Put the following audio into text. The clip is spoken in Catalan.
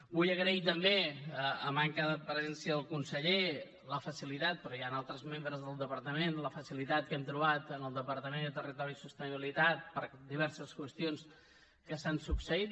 vull agrair també a manca de presència del conseller però hi han altres membres del departament la facilitat que hem trobat en el departament de territori i sostenibilitat per a diverses qüestions que s’han succeït